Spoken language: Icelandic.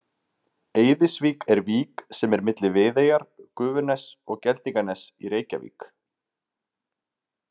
Eiðsvík er vík sem er milli Viðeyjar, Gufuness og Geldinganess í Reykjavík.